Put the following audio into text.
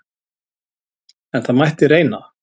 En það mætti reyna!